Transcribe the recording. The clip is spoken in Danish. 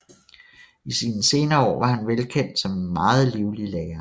I sine senere år var han velkendt som en meget livlig lærer